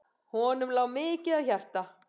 Honum lá mikið á hjarta.